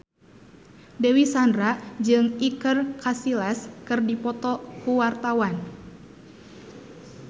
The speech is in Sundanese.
Dewi Sandra jeung Iker Casillas keur dipoto ku wartawan